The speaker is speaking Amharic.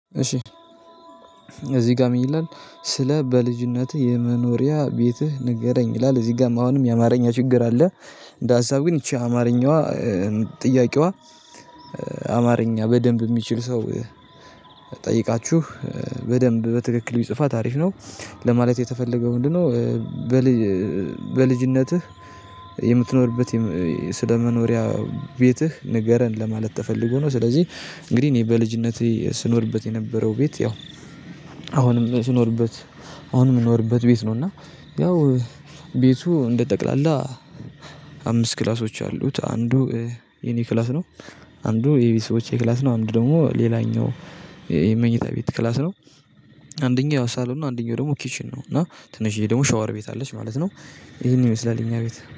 እሺ እዚህ ጋር ምን ይላል ስለ በልጅነትህ የመኖሪያ ቤትህ ንገረኝ ይላል እዚህ ጋርም አሁንም የአማርኛ ችግር አለ። እንደ ሀሳብ ግን ይቺ አማርኛዋ። እ ጥያቄዋ። እ አማርኛ በደንብ የሚችል ሰው። ጠይቃችሁ እ በደንብ በትክክል ቢጽፋት አሪፍ ነው። ለማለት የተፈለገው ምንድነው? እ ብል። በልጅ በልጅነትህ የምትኖርበት የም ስለመኖሪያ ቤትህ ንገረን ለማለት ተፈልጎ ነው። ስለዚህ እንግዲህ እኔ በልጅነቴ ስኖርበት የነበረው ቤት ያው አሁንም ስኖርበት አሁንም የምኖርበት ቤት ነው። እና ያው ቤቱ እንደ ጠቅላላ አምስት ክላሶች አሉት። አንዱ እ የኔ ክላስ ነው። አንዱ የቤተሰቦቼ ክላስ ነው። አንድ ደግሞ ሌላኛው የመኝታ ቤት ክላስ ነው። አንደኛው ሳሎን አንደኛው ደግሞ ኪችን ነው። እና ትንሽዬ ደግሞ ሻወር ቤት አለች ማለት ነው። ይሄንን ይመስላል የኛ ቤት